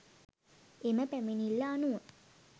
එම පැමිණිල්ල අනුව